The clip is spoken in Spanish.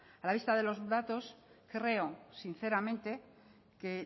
a la vista de los datos creo sinceramente que